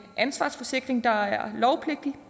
ansvarsforsikring der er lovpligtig